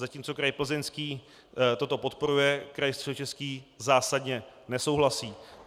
Zatímco kraj Plzeňský toto podporuje, kraj Středočeský zásadně nesouhlasí.